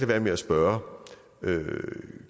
være med at spørge